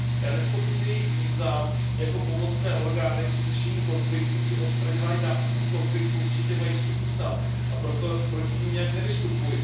Já nezpochybňuji jejich význam, jako pomocné orgány při řešení konfliktů, při odstraňování následků konfliktů určitě mají svůj význam, a proto proti nim nějak nevystupuji.